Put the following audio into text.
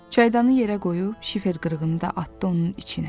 Çaydanı yerə qoyub, şifer qırığını da atdı onun içinə.